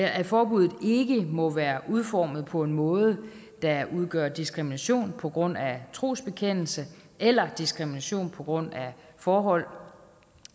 at forbuddet ikke må være udformet på en måde der udgør diskrimination på grund af trosbekendelse eller diskrimination på grund af forhold